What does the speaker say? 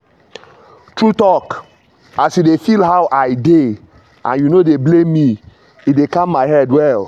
true talk as you dey feel how i dey and you no dey blame me e dey calm my head well.